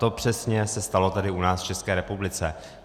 To přesně se stalo tady u nás v České republice.